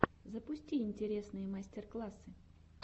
запусти интересные мастер классы